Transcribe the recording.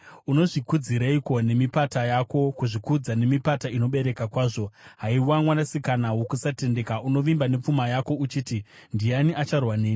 Unozvikudzireiko nemipata yako, kuzvikudza nemipata inobereka kwazvo? Haiwa mwanasikana wokusatendeka, unovimba nepfuma yako uchiti, ‘Ndiani acharwa neni?’